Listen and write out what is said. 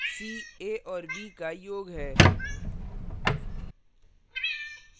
c a और b का योग है